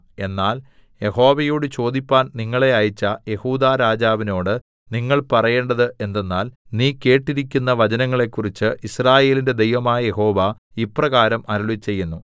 എന്നാൽ യഹോവയോട് ചോദിപ്പാൻ നിങ്ങളെ അയച്ച യെഹൂദാരാജാവിനോട് നിങ്ങൾ പറയേണ്ടത് എന്തെന്നാൽ നീ കേട്ടിരിക്കുന്ന വചനങ്ങളെക്കുറിച്ച് യിസ്രായേലിന്റെ ദൈവമായ യഹോവ ഇപ്രകാരം അരുളിച്ചെയ്യുന്നു